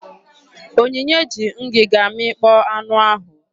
Onyinye ji ngịga mịkpọọ anụ ahụ.